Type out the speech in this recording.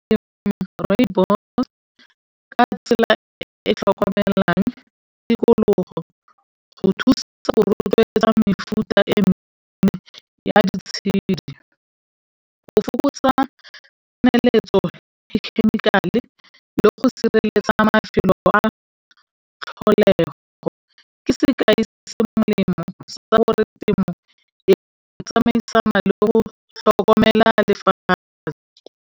E tlhokomelang tikologo tsamaisana le go tlhokomela lefatshe.